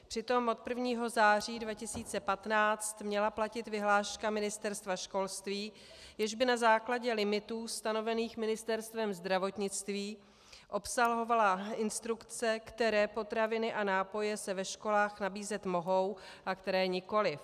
Přitom od 1. září 2015 měla platit vyhláška Ministerstva školství, jež by na základě limitů stanovených Ministerstvem zdravotnictví obsahovala instrukce, které potraviny a nápoje se ve školách nabízet mohou a které nikoliv.